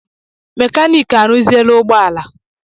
Mekaniki m arụziela ụgbọala.